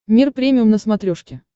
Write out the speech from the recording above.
мир премиум на смотрешке